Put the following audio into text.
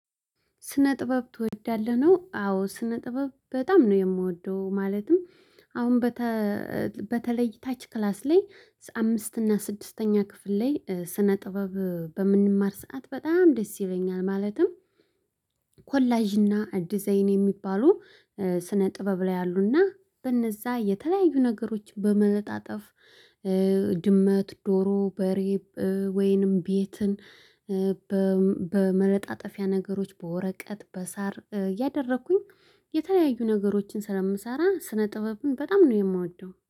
ስነ ጥበብ ትወዳለህ ነው? አዎ ስነ ጥበብ በጣም ነው የምወደው። ማለትም አሁን በተለይ እታች ክላስ ላይ አምስት እና ስድስተኛ ክፍል ላይ ስነ ጥበብ በምንማር ሰዓት በጣም ደስ ይለኛል። ማለትም ኮላጅና ዲዛይን የሚባሉ ስነ ጥበብ ላይ አሉና በነዛ የተለያዩ ነገሮች በመለጣጠፍ ድመት ዶሮ በሬ ወይንም ቤትን በመለጣጠፊያ ነገሮች በወረቀት በሳር እያደረኩኝ የተለያዩ ነገሮችን ስለምሰራ ስነ ጥበብን በጣም ነው የምወደው